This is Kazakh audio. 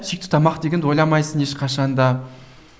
сүйікті тамақ дегенді ойламайсың ешқашан да